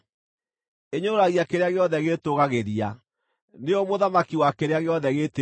Ĩnyũrũragia kĩrĩa gĩothe gĩĩtũũgagĩria; nĩyo mũthamaki wa kĩrĩa gĩothe gĩĩtĩĩaga.”